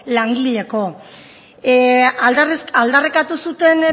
langileko aldarrikatu zuten